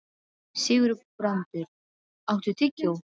Sigurbrandur, áttu tyggjó?